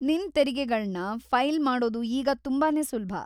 ನಿನ್ ತೆರಿಗೆಗಳನ್ನ ಫೈಲ್‌ ಮಾಡೋದು ಈಗ ತುಂಬಾನೇ ಸುಲಭ.